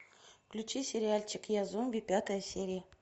включи сериальчик я зомби пятая серия